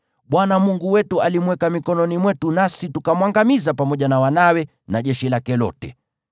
Bwana Mungu wetu alimweka mikononi mwetu, nasi tukamwangamiza pamoja na wanawe na jeshi lake lote.